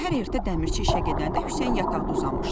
Səhər ertə dəmirçi işə gedəndə Hüseyn yataqda uzanmışdı.